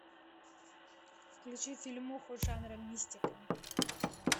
включи фильмуху жанра мистика